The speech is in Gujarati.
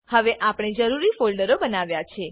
હવે આપણે જરૂરી ફોલ્ડરો બનાવ્યા છે